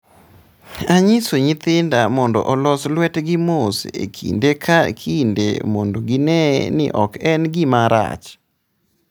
"""Anyiso nyithinda mondo olos lwetgi mos e kinde ka kinde mondo gine ni ok en gima rach."